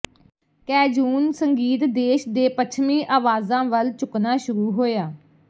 Cajun ਸੰਗੀਤ ਦੇਸ਼ ਦੇ ਪੱਛਮੀ ਆਵਾਜ਼ਾਂ ਵੱਲ ਝੁਕਣਾ ਸ਼ੁਰੂ ਹੋਇਆ